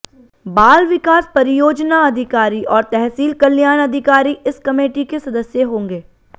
बाल विकास परियोजना अधिकारी और तहसील कल्याण अधिकारी इस कमेटी के सदस्य होंगे